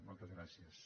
moltes gràcies